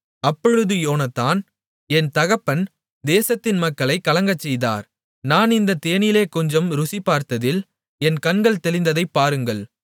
அப்பொழுது யோனத்தான் என் தகப்பன் தேசத்தின் மக்களைக் கலங்கச்செய்தார் நான் இந்தத் தேனிலே கொஞ்சம் ருசிபார்த்ததில் என் கண்கள் தெளிந்ததைப் பாருங்கள்